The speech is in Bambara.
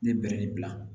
Ne bɛrɛ nin bila